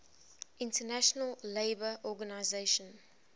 international labour organization